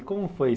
E como foi?